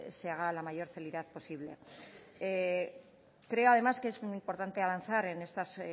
se haga a la mayor celeridad posible creo además que es muy importante avanzar en estas